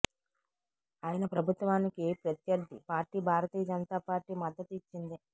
ఆయన ప్రభుత్వానికి ప్రత్యర్థి పార్టీ భారతీయ జనతా పార్టీ మద్దతు ఇచ్చింది